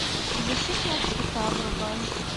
защитные цвета врубай